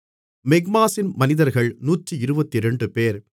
மிக்மாசின் மனிதர்கள் 122 பேர்